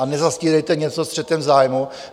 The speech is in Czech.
A nezastírejte něco střetem zájmů.